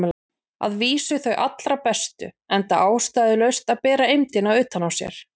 Að vísu þau allra bestu, enda ástæðulaust að bera eymdina utan á sér.